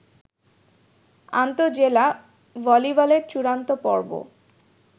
আন্তঃজেলা ভলিবলের চূড়ান্ত পর্ব